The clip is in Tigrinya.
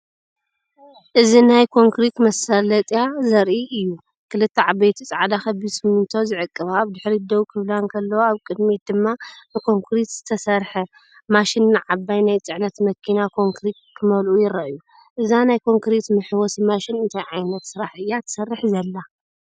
እዚ ናይ ኮንክሪት መሳለጥያ ዘርኢ እዩ። ክልተ ዓበይቲ ጻዕዳ ከቢድ ሲሚንቶ ዝዕቅባ ኣብድሕሪት ደው ክብላ እንከለዋ፡ኣብ ቅድሚት ድማ ንኮንክሪት ዝተሰርሐ ማሽንንዓባይ ናይ ጽዕነት መኪናኮንክሪት ክመልኡ ይረኣዩ። እዛ ናይ ኮንክሪት መሕወሲ ማሽን እንታይ ዓይነት ስራሕ እያ ትሰርሕ ዘላ?